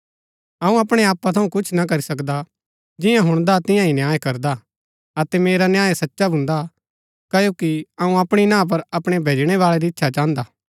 अऊँ अपणै आपा थऊँ कुछ न करी सकदा जियां हुणदा तियां ही न्याय करदा अतै मेरा न्याय सचा भून्दा क्ओकि अऊँ अपणी ना पर अपणै भैजणै बाळै री इच्छा चाहन्दा